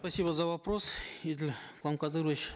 спасибо за вопрос еділ куламкадырович